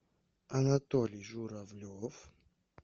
анатолий журавлев